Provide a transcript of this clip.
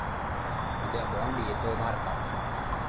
उद्या 'बाँड' येतोय भारतात